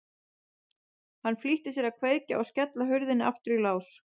Hann flýtti sér að kveikja og skella hurðinni aftur í lás.